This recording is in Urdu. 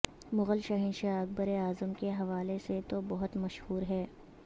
مغل شہنشاہ اکبر اعظم کے حوالے سے تو بہت مشہور ہے